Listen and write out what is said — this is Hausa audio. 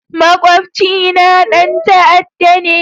Makwabcina ɗan ta'adda ne